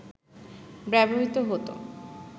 ব্যবহৃত হতো